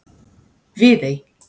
Viðey